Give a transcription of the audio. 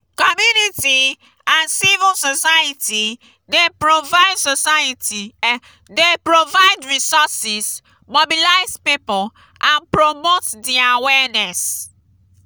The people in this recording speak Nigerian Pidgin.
community and civil society dey provide society dey provide resources mobilize people and promote di awareness.